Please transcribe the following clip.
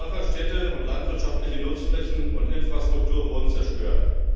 Dörfer, Städte und landwirtschaftliche Nutzflächen und Infrastruktur wurden zerstört.